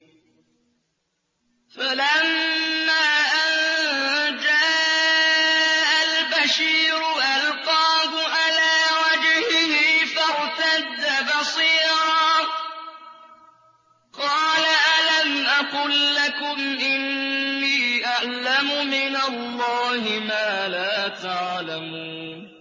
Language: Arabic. فَلَمَّا أَن جَاءَ الْبَشِيرُ أَلْقَاهُ عَلَىٰ وَجْهِهِ فَارْتَدَّ بَصِيرًا ۖ قَالَ أَلَمْ أَقُل لَّكُمْ إِنِّي أَعْلَمُ مِنَ اللَّهِ مَا لَا تَعْلَمُونَ